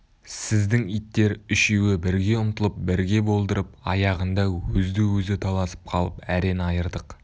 сіздің иттер үшеуі бірге ұмтылып бірге болдырып аяғында өзді-өзі таласып қалып әрең айырдық